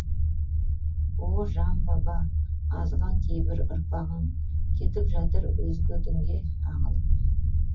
о жан баба азған кейбір ұрпағың кетіп жатыр өзге дінге ағып